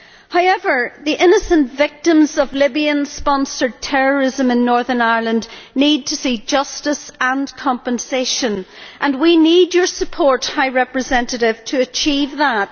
However, the innocent victims of Libyan sponsored terrorism in Northern Ireland need to see justice and compensation, and we need your support, High Representative, to achieve that.